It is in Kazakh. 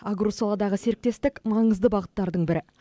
агросаладағы серіктестік маңызды бағыттардың бірі